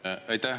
Aitäh!